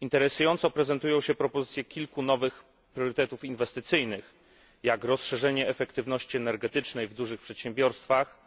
Interesująco prezentują się propozycje kilku nowych priorytetów inwestycyjnych, jak rozszerzenie efektywności energetycznej w dużych przedsiębiorstwach,